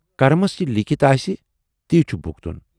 Crumbs یہِ لیٖکھِتھ آسہِ، تی چھُ بھوٗگُن۔